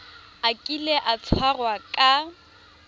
a kile a tshwarwa ka